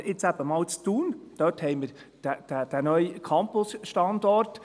Aber jetzt haben wir in Thun diesen neuen Campus-Standort.